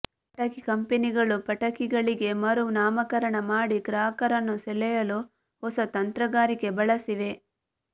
ಪಟಾಕಿ ಕಂಪೆನಿಗಳು ಪಟಾಕಿಗಳಿಗೆ ಮರು ನಾಮಕರಣ ಮಾಡಿ ಗ್ರಾಹಕರನ್ನು ಸೆಳೆಯಲು ಹೊಸ ತಂತ್ರಗಾರಿಕೆ ಬಳಸಿವೆ